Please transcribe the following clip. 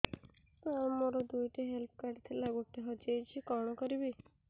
ସାର ମୋର ଦୁଇ ଟି ହେଲ୍ଥ କାର୍ଡ ଥିଲା ଗୋଟେ ହଜିଯାଇଛି କଣ କରିବି